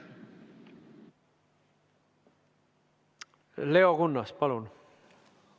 Leo Kunnas, palun!